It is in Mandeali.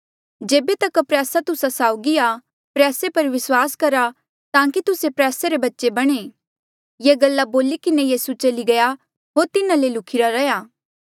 जेबे तक प्रयासा तुस्सा साउगी आ प्रयासे पर विस्वास करा ताकि तुस्से प्रयासे री बच्चे बणा ये गल्ला बोली किन्हें यीसू चली गया होर तिन्हा ले ल्हुखिरा रैहया